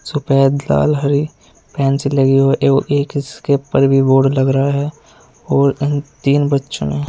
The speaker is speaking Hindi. सफेद लाल हरी पेंसिल लगी हुई एवं एक इसके ऊपर भी बोर्ड लग रहा है और तीन बच्चों ने--